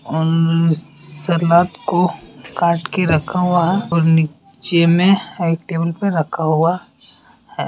उम् सलाद को काट के रखा हुआ है और नीचे में एक टेबल पे रखा हुआ है।